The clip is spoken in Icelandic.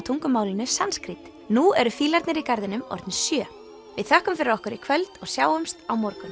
tungumálinu sanskrít nú eru fílarnir í garðinum orðnir sjö við þökkum fyrir okkur í kvöld og sjáumst á morgun